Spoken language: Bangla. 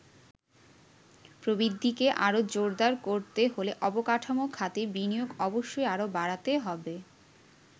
প্রবৃদ্ধিকে আরো জোরদার করতে হলে অবকাঠামো খাতে বিনিয়োগ অবশ্যই আরো বাড়াতে হবে।